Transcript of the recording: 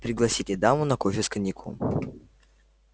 пригласите даму на кофе с коньяком